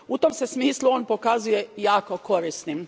U tom se smislu on pokazuje jako korisnim.